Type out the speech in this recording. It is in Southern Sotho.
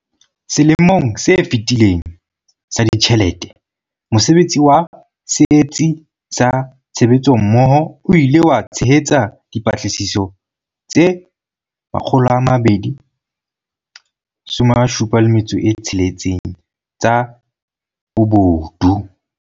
Selemong se fetileng sa ditjhelete, mosebetsi wa Setsi sa Tshebetsommoho o ile wa tshehetsa dipatlisiso tse 276 tsa bobodu.